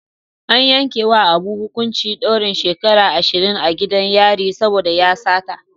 An yankewa Abu hukuncin daurin shekaru ashirin a gidan yari saboda ya sata.